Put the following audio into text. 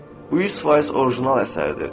Bu 100% orijinal əsərdir.